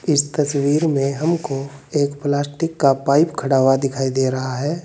इस तसवीर में हमको एक प्लास्टिक का पाइप खड़ा हुआ दिखाई दे रहा है।